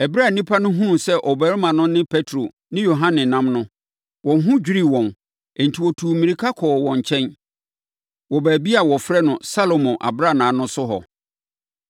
Ɛberɛ a nnipa no hunuu sɛ ɔbarima no ne Petro ne Yohane nam no, wɔn ho dwirii wɔn; enti wɔtuu mmirika kɔɔ wɔn nkyɛn, wɔ baabi a wɔfrɛ no Salomo Abrannaa no so hɔ.